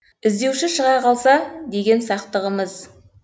і здеуші шыға қалса деген сақтығымыз